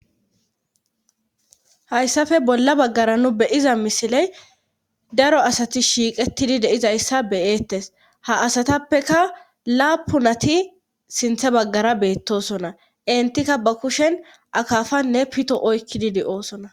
Hayssafe bolla baggara nu beyiza misiley daro asati shiiqettidi deizayssa beyeettes ha asatappeka laapunati sinthe baggara beettosona entikka ba kushen akafanne pito oykkididi oosona.